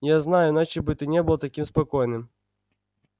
я знаю иначе бы ты не был таким спокойным